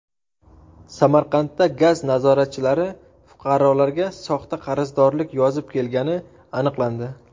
Samarqandda gaz nazoratchilari fuqarolarga soxta qarzdorlik yozib kelgani aniqlandi.